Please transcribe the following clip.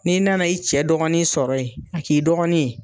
N'i nana i cɛ dɔgɔnin sɔrɔ yen , a k'i dɔgɔnin ye.